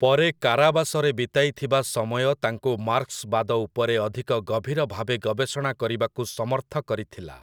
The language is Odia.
ପରେ କାରାବାସରେ ବିତାଇଥିବା ସମୟ ତାଙ୍କୁ 'ମାର୍କ୍ସ୍‌ବାଦ' ଉପରେ ଅଧିକ ଗଭୀର ଭାବେ ଗବେଷଣା କରିବାକୁ ସମର୍ଥ କରିଥିଲା ।